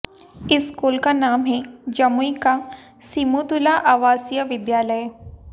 इस स्कूल का नाम है जमुई का सिमुतुला आवासीय विद्लाय